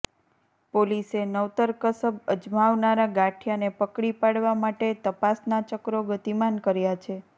પોલીસે નવતર કસબ અજમાવનારા ગઠીયાને પકડી પાડવા માટે તપાસના ચક્રો ગતિમાન કર્યા છે